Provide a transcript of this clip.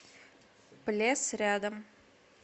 плес рядом